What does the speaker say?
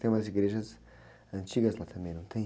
Tem umas igrejas antigas lá também, não tem?